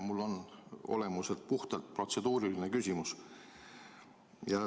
Mul on olemuselt puhtalt protseduuriline küsimus.